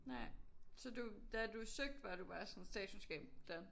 Nej så du da du søgte var du bare sådan statskundskab. Done